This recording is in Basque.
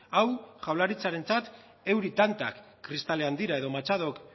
hau jaurlaritzarentzat euri tantak kristalean dira edo machadok